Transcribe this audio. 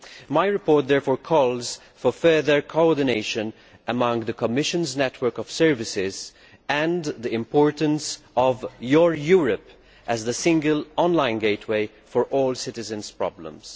My report therefore calls for further coordination among the Commission's network of services and stresses the importance of the Your Europe portal as the single online gateway for all citizens' problems.